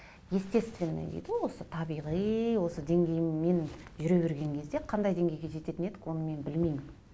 естественный дейді ғой осы табиғи осы деңгейімен жүре берген кезде қандай деңгейге жететін едік оны мен білмеймін